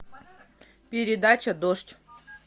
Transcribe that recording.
передача дождь